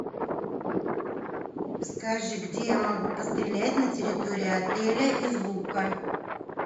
скажи где я могу пострелять на территории отеля из лука